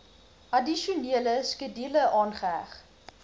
addisionele skedule aangeheg